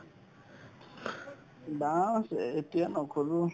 dance এতিয়া নকৰো